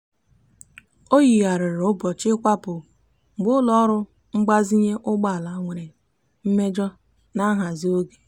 o yigharịrị ụbọchị ịkwapụ mgbe ụlọọrụ mgbazinye ụgbọala nwere mmejọ na nhazi oge.